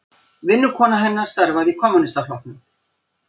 Vinnukona hennar starfaði í Kommúnistaflokknum.